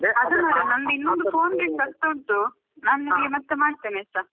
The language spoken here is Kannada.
ಅದೇ ಮಾರೆ ನಂದು ಇನ್ನೊಂದು phone ring ಆಗ್ತಾ ಉಂಟು ನಾನು ನಿನಗೆ ಮತ್ತೆ ಮಾಡ್ತೀನಿ ಆಯ್ತಾ?